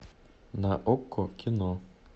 на окко кино